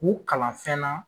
K'u kalan fɛn na.